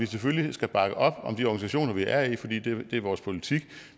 selvfølgelig bakke op om de organisationer vi er i fordi det er vores politik